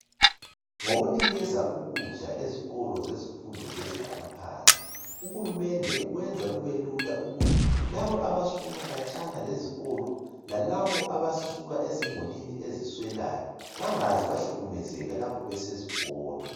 Ngokunikeza ukudla ezikolo zezifundo zezinga laphansi uhulumende ukwenza kube lula ukuthi laba abasuka khatshana lezikolo lalaba abasuka ezimulini eziswelayo bengaze bahlukumezeka lapha besesikolo.